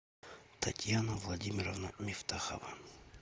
татьяна владимировна мифтахова